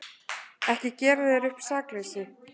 Ekki gera þér upp sakleysi.